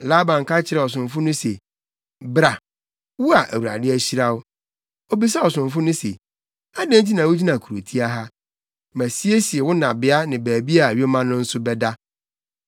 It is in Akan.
Laban ka kyerɛɛ ɔsomfo no se, “Bra, wo a Awurade ahyira wo.” Obisaa ɔsomfo no se, “Adɛn nti na wugyina kurotia ha? Masiesie wo nnabea ne baabi a yoma no nso bɛda.”